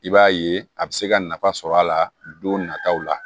I b'a ye a bɛ se ka nafa sɔrɔ a la don nataw la